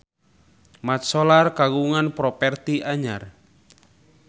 Mat Solar kagungan properti anyar